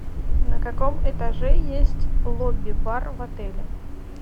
на каком этаже есть лобби бар в отеле